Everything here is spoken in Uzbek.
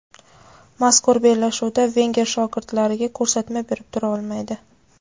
Mazkur bellashuvda Venger shogirdlariga ko‘rsatma berib tura olmaydi.